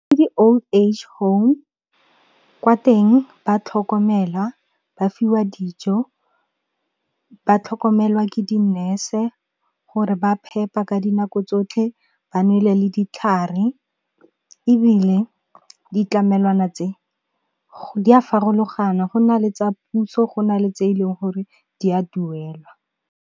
Ke di-old age home, kwa teng ba tlhokomelwa, ba fiwa dijo, ba tlhokomelwa ke dinese gore ba phepa ka dinako tsotlhe ba nwele le ditlhare, ebile ditlamelwana tse di a farologana go na le tsa puso go na le tse e leng gore di a duelwa.